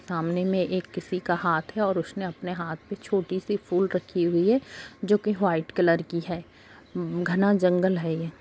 सामने में ये किसी का हाथ है और उसने अपने हाथ में छोटी-सी फूल रखी हुई है जो कि व्हाइट कलर की है घाना जंगल है ये।